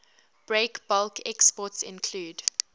breakbulk exports include